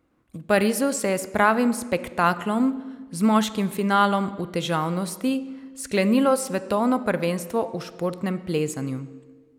V Parizu se je s pravim spektaklom, z moškim finalom v težavnosti, sklenilo svetovno prvenstvo v športnem plezanju.